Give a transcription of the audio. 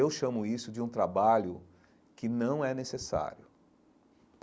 Eu chamo isso de um trabalho que não é necessário.